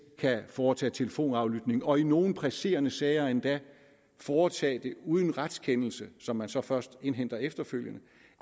kan foretage telefonaflytninger og i nogle presserende sager endda foretage dem uden retskendelse som man så først indhenter efterfølgende